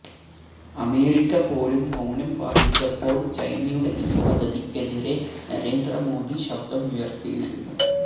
America പോലും മൌനം പാലിച്ചപ്പോള് ചൈനയുടെ ഈ പദ്ധതിക്കെതിരെ നരേന്ദ്ര മോദി ശബ്ദമുയര്ത്തിയിരുന്നു